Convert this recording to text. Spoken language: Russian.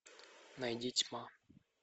найди тьма